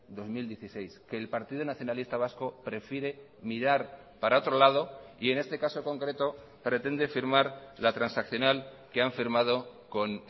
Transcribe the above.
dos mil dieciséis que el partido nacionalista vasco prefiere mirar para otro lado y en este caso concreto pretende firmar la transaccional que han firmado con